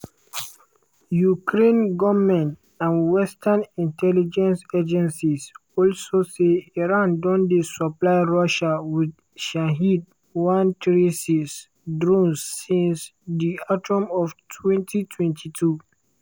ukraine goment and western intelligence agencies also say iran don dey supply russia wit shahed-136 drones since di autumn of 2022.